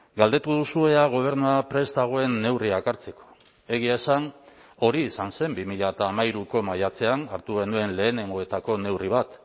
galdetu duzu ea gobernua prest dagoen neurriak hartzeko egia esan hori izan zen bi mila hamairuko maiatzean hartu genuen lehenengoetako neurri bat